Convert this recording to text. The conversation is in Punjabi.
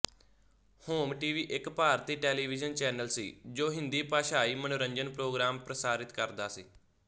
ਹੋਮ ਟੀਵੀ ਇੱਕ ਭਾਰਤੀ ਟੈਲੀਵਿਜਨ ਚੈਨਲ ਸੀ ਜੋ ਹਿੰਦੀ ਭਾਸ਼ਾਈ ਮਨੋਰੰਜਨ ਪ੍ਰੋਗਰਾਮ ਪ੍ਰਸਾਰਿਤ ਕਰਦਾ ਸੀ